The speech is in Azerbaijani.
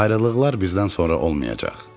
Ayrılıqlar bizdən sonra olmayacaq.